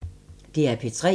DR P3